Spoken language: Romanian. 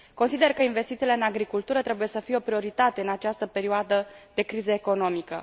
Consider că investițiile în agricultură trebuie să fie o prioritate în această perioadă de criză economică.